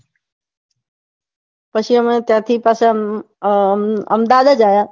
પછી અમે ત્યાંથી પાછા અમદાવાદ જ આવ્યા પાછા